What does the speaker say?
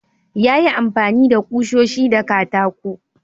Ya yi amfani da kushoshi da katako.